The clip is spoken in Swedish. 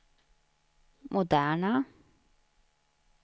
moderna